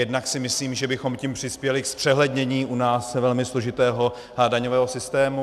Jednak si myslím, že bychom tím přispěli ke zpřehlednění u nás velmi složitého daňového systému.